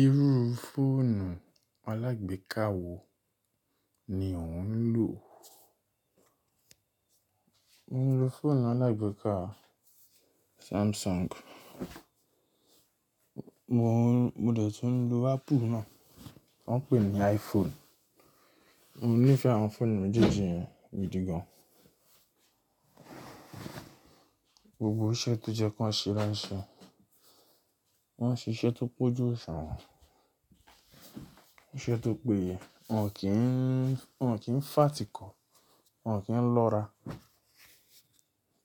Irú fóònù alágbéka wo ni ò ń lò? Mo ń lo fóònù alágbéka Samsung. Mo ò, mo dẹ̀ tún lo Apple náà tí wọ́n ń pè ní iPhone. Mo nífẹ̀ẹ́ àwọn fóònù méjèèjì yẹn gidi gan. Gbogbo iṣẹ́ tó jẹ́ kí wọ́n ṣe ló ń ṣe. Wọ́n ń ṣe iṣẹ́ tó kọ̀jù osuwon, iṣẹ́ tó péye. Wọn kìń, wọ́n kìń fà tíko, wọ́n kíń lọ́ra